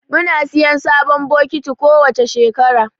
Muna siyan sabon bokiti kowace shekara